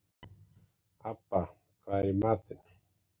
Abba, hvað er í matinn?